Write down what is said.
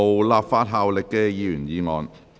無立法效力的議員議案。